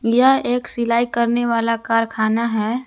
यह एक सिलाई करने वाला कारखाना है।